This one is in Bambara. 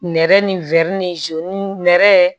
Nɛrɛ ni ni nɛrɛ